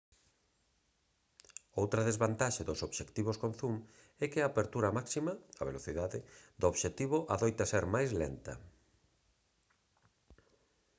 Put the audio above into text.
outra desvantaxe dos obxectivos con zoom é que a apertura máxima a velocidade do obxectivo adoita ser máis lenta